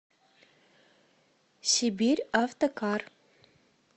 сибирьавтокар